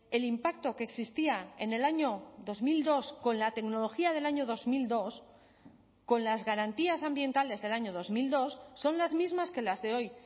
el impacto que existía en el año dos mil dos con la tecnología del año dos mil dos con las garantías ambientales del año dos mil dos son las mismas que las de hoy